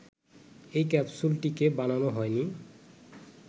এই ক্যাপসুলটিকে বানানো হয়নি